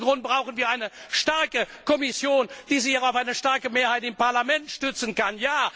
Aus diesem Grund brauchen wir eine starke Kommission, die sich auch auf eine starke Mehrheit im Parlament stützen kann.